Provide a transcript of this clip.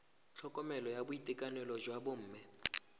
tlhokomelo ya boitekanelo jwa bomme